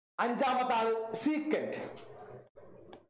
അഞ്ചാമത്തെ ആള് secant